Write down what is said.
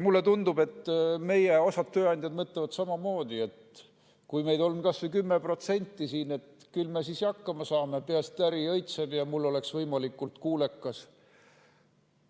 Mulle tundub, et osa meie tööandjaid mõtleb samamoodi, et kui meid on kas või 10% siin, küll me siis hakkama saame, peaasi, et äri õitseb ja oleks võimalikult